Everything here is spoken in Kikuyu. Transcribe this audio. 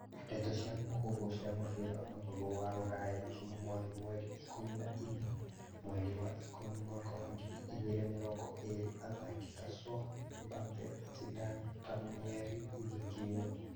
Ndeto cia mũhuhu cia mũbira wa magũrũ wa Rũraya juma mothi mweri ikũmi na inya mweri wa ikũmi mwaka wa ngiri igĩrĩ mĩrongo ĩrĩ athaki ta Son, Mbappe, Zidane, Palmieri, Jorginho